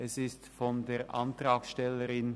Es wurde von der Antrag-